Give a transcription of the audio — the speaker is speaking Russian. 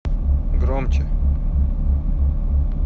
громче